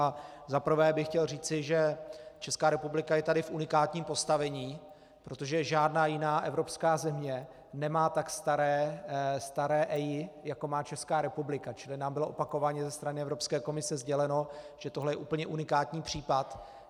Za prvé bych chtěl říci, že Česká republika je taky v unikátním postavení, protože žádná jiná Evropská země nemá tak staré EIA, jako má Česká republika, čili nám bylo opakovaně ze strany Evropské komise sděleno, že tohle je úplně unikátní případ.